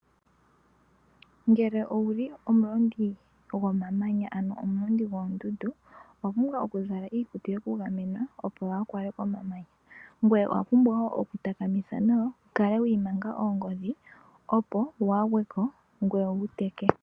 Ngele owuli omulondi go mamanya ano omulondi goondundu, owa pumbwa oku zala iikutu yeku gamena, opo waa kwalwe ko mamanya, ngoye owa pumbwa woo oku takamitha nawa, wu kale wa imanga oongodhi, opo waa gweko ngoye wu teke.